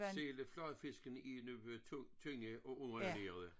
Selv fladfiskene er nu tynde og underernærede